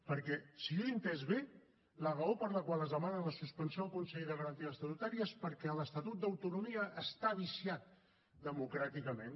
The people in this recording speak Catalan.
perquè si jo ho he entès bé la raó per la qual es demana la suspensió al consell de garanties estatutàries és perquè l’estatut d’autonomia està viciat democràticament